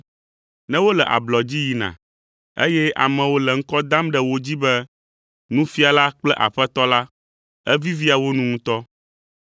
Ne wole ablɔ dzi yina, eye amewo le ŋkɔ dam ɖe wo dzi be, ‘Nufiala’ kple ‘Aƒetɔ’ la, evivia wo nu ŋutɔ.